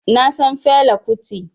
Na san Fela Kuti